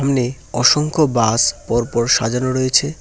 সামনে অসংখ্য বাস পরপর সাজানো রয়েছে।